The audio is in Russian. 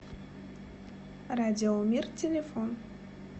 радиомир телефон